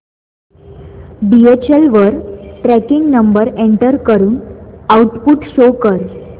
DHL वर tracking number enter करून output show कर